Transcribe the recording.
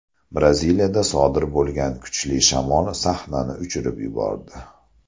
Braziliyada sodir bo‘lgan kuchli shamol sahnani uchirib yubordi.